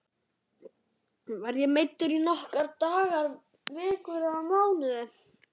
Verð ég meiddur í nokkra daga, vikur eða mánuði?